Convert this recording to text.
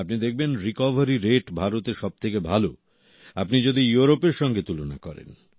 আপনি দেখবেন recovery rate ভারতে সবথেকে ভালো আপনি যদি ইউরোপের সঙ্গে তুলনা করেন